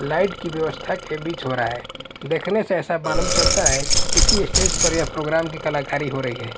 light की व्यवस्था के बीच हो रहा है देखने से ऐसा मालूम चलता है किसी स्टेज पर यह प्रोग्राम की कलाकारी हो रही--